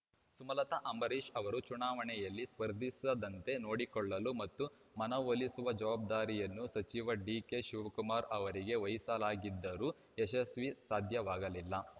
ಸುಮಲತಾ ಅಂಬರೀಷ್ ಅವರು ಚುನಾವಣೆಯಲ್ಲಿ ಸ್ಪರ್ಧಿಸದಂತೆ ನೋಡಿಕೊಳ್ಳಲು ಮತ್ತು ಮನವೊಲಿಸುವ ಜವಾಬ್ದಾರಿಯನ್ನು ಸಚಿವ ಡಿಕೆ ಶಿವಕುಮಾರ್ ಅವರಿಗೆ ವಹಿಸಲಾಗಿದ್ದರೂ ಯಶಸ್ವಿ ಸಾಧ್ಯವಾಗಲಿಲ್ಲ